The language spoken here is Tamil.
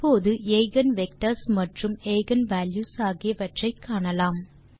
இப்போது எய்கென் வெக்டர்ஸ் மற்றும் எய்கென் வால்யூஸ் ஆகியவற்றை காணலாம்